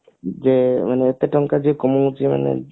ଯୋଉ ମାନେ ଏତେ ଟଙ୍କା ଯେ କମୋଉଛି ମାନେ